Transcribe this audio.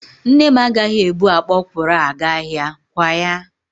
Nne m agaghị ebu akpa ọkwụrụ a gaa ahịa, kwa ya?